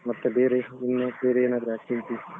ಮತ್ತೆ ಬೇರೆ ಇನ್ನು ಬೇರೆ ಏನಾದ್ರು activities ?